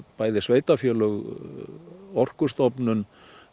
bæði sveitarfélög Orkustofnun